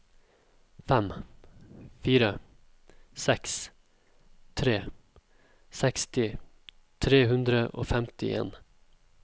fem fire seks tre seksti tre hundre og femtien